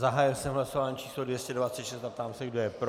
Zahájil jsem hlasování číslo 226 a ptám se, kdo je pro.